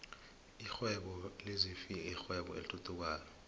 lihwebo lezinfhvthi yirwebo elithuthukayo flhe